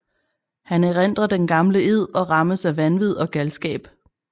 Han erindre den gamle ed og rammes af vanvid og galskab